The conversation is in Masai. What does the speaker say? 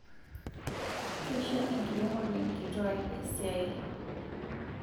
Keisho enkiremore nkituak esiai